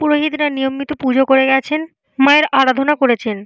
পুরোহিতরা নিয়মিত পুজো করে গেছেন মায়ের আরাধনা করেছেন।